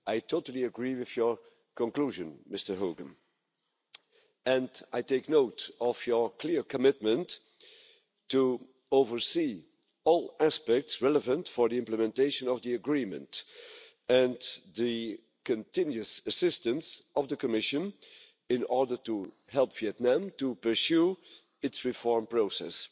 I totally agree with your conclusion, Mr Hogan, and I take note of your clear commitment to oversee all aspects relevant for the implementation of the agreement and the continuous assistance of the Commission in order to help Vietnam pursue its reform process